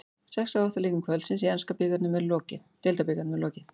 Sex af átta leikjum kvöldsins í enska deildabikarnum er lokið.